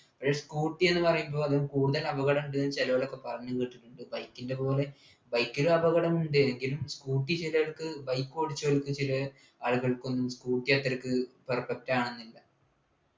പക്ഷേ scooter എന്ന് പറയുമ്പോ അത് കൂടുതൽ അപകടണ്ടന്നു ചിലര് ഒക്കെ പറഞ്ഞു കേട്ടിട്ടുണ്ട് bike ൻ്റെ പോലെ bike ൽ അപകടണ്ട് എങ്കിലും scooter ചിലർക്ക് bike ഓടിച്ചവർക്ക് ചില ആളുകൾക്കും scooter അത്രയ്ക്ക് perfect ആവുന്നില്ല